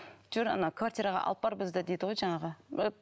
жүр ана квартираға алып бар бізді дейді ғой жаңағы